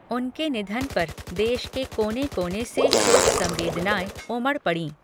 उनके निधन पर देश के कोने कोने से शोक संवेदनाएँ उमड़ पड़ीं।।